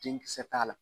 Denkisɛ t'a la